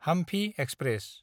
Hampi express